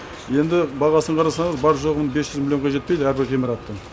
енді бағасын қарасаңыз бар жоғы бес жүз миллионға жетпейді әрбір ғимараттың